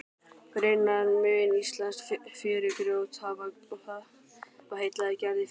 Raunar mun íslenskt fjörugrjót hafa heillað Gerði fyrr.